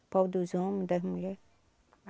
O pau dos homem, das mulher.